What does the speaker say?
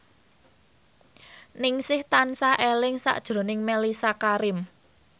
Ningsih tansah eling sakjroning Mellisa Karim